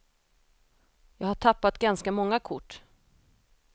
Jag har tappat ganska många kort.